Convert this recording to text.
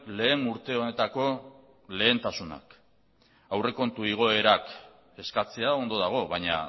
lehen urte honetako lehentasunak aurrekontu igoerak eskatzea ondo dago baina